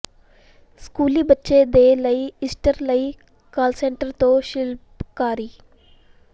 ਸਕੂਲੀ ਬੱਚੇ ਦੇ ਲਈ ਈਸਟਰ ਲਈ ਕਾਸਲਸਟ੍ਰਨ ਤੋਂ ਸ਼ਿਲਪਕਾਰੀ